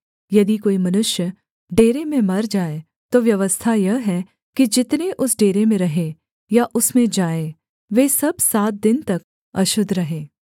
यदि कोई मनुष्य डेरे में मर जाए तो व्यवस्था यह है कि जितने उस डेरे में रहें या उसमें जाएँ वे सब सात दिन तक अशुद्ध रहें